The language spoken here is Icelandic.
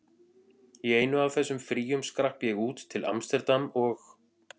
Í einu af þessum fríum skrapp ég út, til amsterdam og